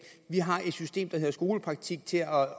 vi har et system der hedder skolepraktik til at